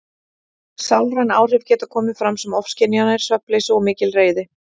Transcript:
Sálræn áhrif geta komið fram sem ofskynjanir, svefnleysi og mikil reiði.